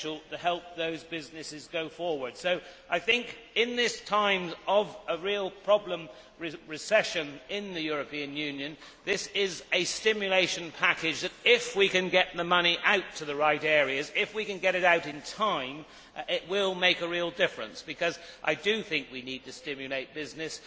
At this time of a real recession in the European Union this is a stimulation package that if we can get the money out to the right areas and if we can get it out in time will make a real difference because we need to stimulate business.